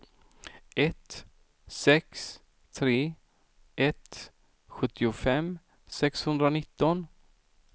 ett sex tre ett sjuttiofem sexhundranitton